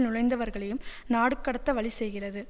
நுழைந்தவர்களையும் நாடுகடத்த வழி செய்கிறது